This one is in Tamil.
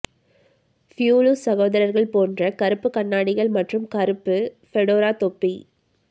புளூஸ் சகோதரர்கள் போன்ற கருப்பு கண்ணாடிகள் மற்றும் கருப்பு ஃபெடோரா தொப்பி